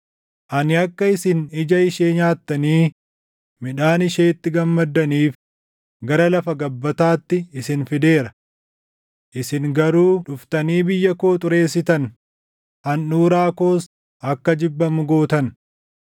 Ani akka isin ija ishee nyaattanii midhaan isheetti gammaddaniif gara lafa gabbataatti isin fideera. Isin garuu dhuftanii biyya koo xureessitan; handhuuraa koos akka jibbamu gootan.